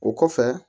O kɔfɛ